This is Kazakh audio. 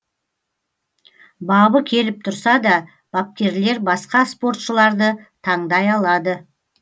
бабы келіп тұрса да бапкерлер басқа спортшыларды таңдай алады